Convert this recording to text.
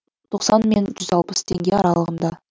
тоқсан мен жүз алпыс теңге аралығында